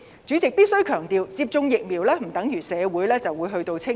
主席，我必須強調，接種疫苗不等於社會便會"清零"。